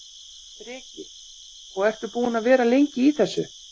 Breki: Og ertu búinn að vera lengi í þessu?